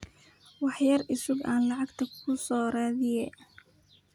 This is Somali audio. Wax yar iisug an lacagta kuusoradiyex.